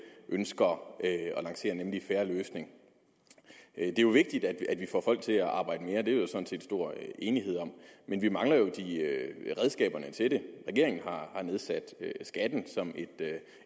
ønsker at lancere nemlig en fair løsning det er jo vigtigt at vi får folk til at arbejde mere det er der sådan set stor enighed om men vi mangler jo redskaberne til det regeringen har nedsat skatten som et